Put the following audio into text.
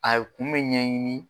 A ye kun bɛ ɲɛɲini.